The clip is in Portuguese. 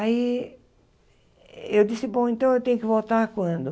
Aí, eu disse, bom, então eu tenho que voltar quando?